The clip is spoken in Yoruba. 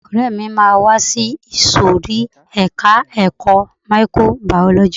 Ọ̀rẹ́ mi máa wá sí ìsòrí ẹka ẹ̀kọ́ microbiology.